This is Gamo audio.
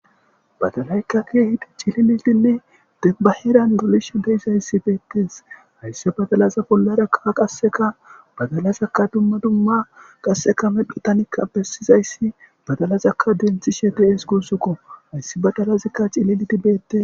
Badalaykaki hidi cililitinne debbaheran gulishe deyizayssi beettees haysse badalaza bollara kaa qasseka badalazaka dumma dumma qasseka mephitanikka bessizayssi badalazakka denthi shete'ees gussukko hayssi badalazikka cileliti beette.